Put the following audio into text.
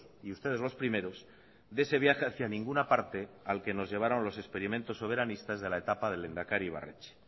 y ustedes los primeros de ese viaje hacia ninguna parte al que nos llevaron los experimentos soberanistas de la etapa del lehendakari ibarretxe